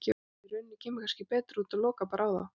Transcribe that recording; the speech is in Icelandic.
Í rauninni kemur kannski betur út að loka bara á þá.